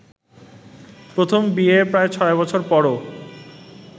প্রথম ‘বিয়ে’র প্রায় ছয় বছর পরও